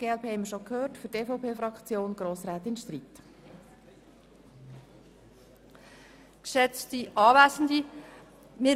Die glp-Fraktion haben wir bereits gehört, jetzt hat die EVPFraktion das Wort.